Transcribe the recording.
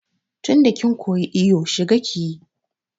Tinda kin koyi iyo shiga kiyi!